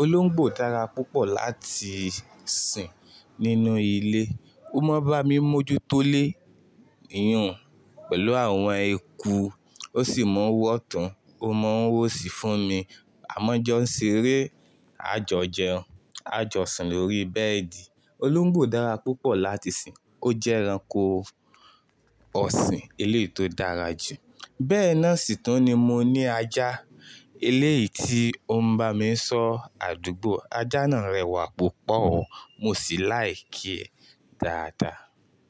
Olóńgbò dára púpọ̀ láti sìn nínú ilé. Ó mọ bá mi mójútólè ìyùn pẹ̀lú àwọn eku, ó sì mọ wọ́tun, ó mọ wóṣí fún mi. Àmọ́ jọ́ ń ṣeré, a jọ jẹun, a jọ sùn lórí bẹ́ẹ̀dì. Olóńgbò dára púpọ̀ láti sìn, ó jẹ́ ẹranko ọ̀sìn eleyi tó dára jù. Bẹ́ẹ̀ náà sì tún ni mo ní ajá, eléyìí tí ó ń bá mi sọ àdúgbò. Ajá náà rẹwà púpọ̀ o, mo sì láì kí e dáadáa.